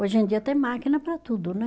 Hoje em dia tem máquina para tudo, né?